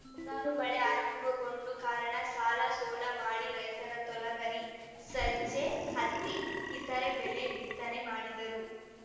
ಈ ಮುಂಗಾರು ಮಳೆ ಆರಂಭಗೊಂಡ ಕಾರಣ ಸಾಲಸೋಲ ಮಾಡಿ ರೈತರು ತೊಗರಿ ಸಜ್ಜೆ ಹತ್ತಿ ಇತರೆ ಬೆಲೆಯ ಬಿತ್ತನೆ ಮಾಡಿದ್ದಾರು